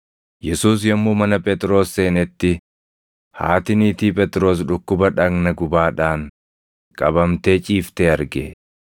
Yesuus yommuu mana Phexros seenetti, haati niitii Phexros dhukkuba dhagna gubaadhaan qabamtee ciiftee arge.